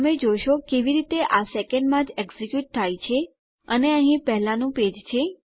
તમે જોશો કેવી રીતે આ સેકંડમાં જ એકઝેક્યુંટ થાય છે અને અહીં પહેલાનું પેજ છે